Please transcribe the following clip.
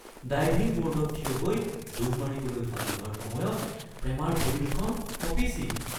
diving ব’ৰ্ডত থিয় হৈ ডুব মাৰিবলৈ সাজু হোৱাৰ সময়ত প্ৰেমাৰ ভৰি দুখন কঁপিছিল